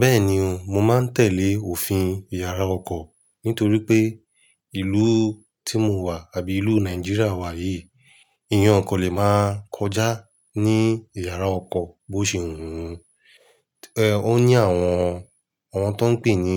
Bẹ́ẹ̀ni o, mo máa ń tẹ̀lé òfin ìyàrá ọkọ̀ nítorí pé ìlú tí mo wà àbí ìlú Nàìjíríà wa yìí, èèyàn kò lè máa kọjá ní ìyàrá ọkọ̀ bó ṣe wù ẹ́. Ẹ̀ ó ní àwọn, àwọn tó ń pè ní